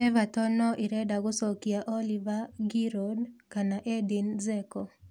Everton no ĩrenda gũcokia Olivier Giroud kana Edin Dzeko.